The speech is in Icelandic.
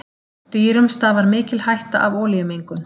Dýrum stafar mikil hætta af olíumengun.